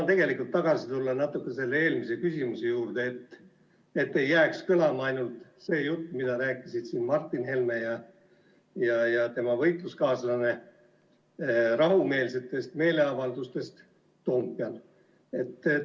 Ma tulen korraks tagasi eelmise küsimuse juurde, et ei jääks kõlama ainult see jutt, mida rääkisid siin Martin Helme ja tema võitluskaaslane rahumeelsetest meeleavaldustest Toompeal.